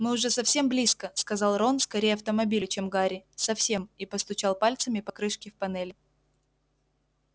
мы уже совсем близко сказал рон скорее автомобилю чем гарри совсем и постучал пальцами по крышке в панели